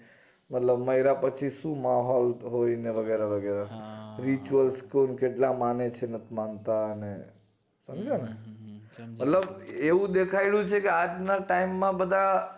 મતલબ મયરા પછી શું માહોલ હોય ને વગેરા વગેરા rituals કુલ કેટલા મને છે નથી માનતા ને સમજ્યાને એવું એટલે એવું દેખયડું છે કે આજ ના time માં બધા